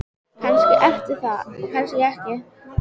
Kannski ertu það og kannski ekki.